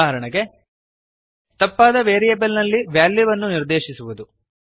ಉದಾಹರಣೆಗೆ ತಪ್ಪಾದ ವೆರಿಯೇಬಲ್ ನಲ್ಲಿ ವೆಲ್ಯೂವನ್ನು ನಿರ್ದೇಶಿಸುವುದು